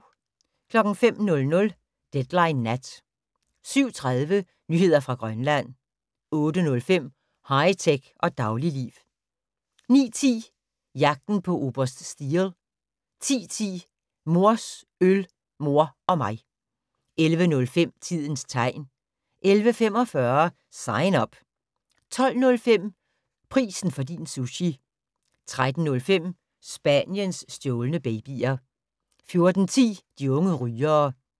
05:00: Deadline Nat 07:30: Nyheder fra Grønland 08:05: High tech og dagligliv 09:10: Jagten på oberst Steele 10:10: Mors øl, mor og mig 11:05: Tidens Tegn 11:45: Sign Up 12:05: Prisen for din sushi 13:05: Spaniens stjålne babyer 14:10: De unge rygere